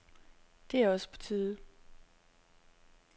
Det er også på tide.